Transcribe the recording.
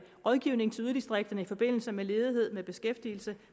rådgivning til yderdistrikterne i forbindelse med ledighed med beskæftigelse